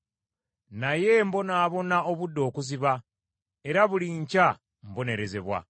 Naye mbonaabona obudde okuziba, era buli nkya mbonerezebwa.